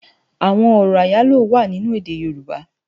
Awòn òrò áyáló wá ninú èdè yorùbá